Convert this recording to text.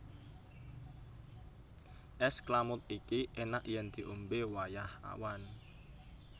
És klamud iki enak yen diombe wayah awan